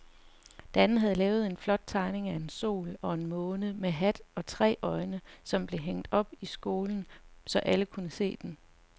Dan havde lavet en flot tegning af en sol og en måne med hat og tre øjne, som blev hængt op i skolen, så alle kunne se den.